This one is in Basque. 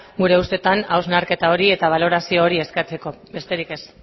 gure ustetan hausnarketa hori eta balorazio hori eskatzeko besterik ez